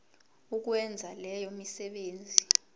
ukwenza leyo misebenzi